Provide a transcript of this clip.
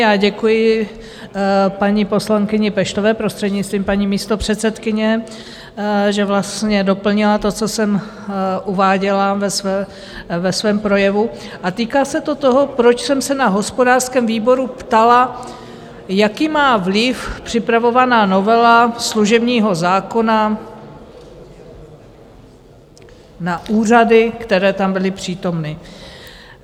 Já děkuji paní poslankyni Peštové, prostřednictvím paní místopředsedkyně, že vlastně doplnila to, co jsem uváděla ve svém projevu, a týká se to toho, proč jsem se na hospodářském výboru ptala, jaký má vliv připravovaná novela služebního zákona na úřady, které tam byly přítomny.